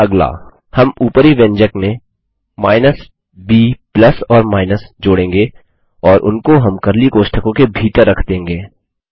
अगला हम उपरी व्यंजक में माइनस ब प्लस ओर माइनस जोड़ेंगे और उनको हम कर्ली कोष्टकों के भीतर रख देंगे